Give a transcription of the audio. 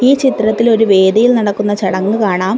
ഈ ചിത്രത്തിലൊരു വേദിയിൽ നടക്കുന്ന ചടങ്ങ് കാണാം.